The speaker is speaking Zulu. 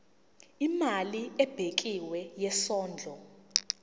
imali ebekiwe yesondlo